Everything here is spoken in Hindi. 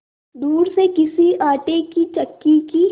दूर से किसी आटे की चक्की की